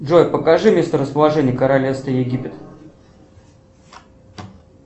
джой покажи месторасположение королевства египет